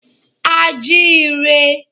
A jí i rẹ.